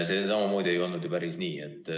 See samamoodi ei olnud ju päris nii.